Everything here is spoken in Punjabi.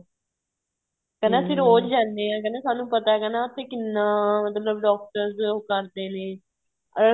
ਕਹਿੰਦੇ ਅਸੀਂ ਰੋਜ ਜਾਂਦੇ ਹਾਂ ਸਾਨੂੰ ਪਤਾ ਹੈ ਕਹਿੰਦਾ ਉਥੇ ਕਿੰਨਾ ਮਤਲਬ doctors ਉਹ ਕਰਦੇ ਨੇ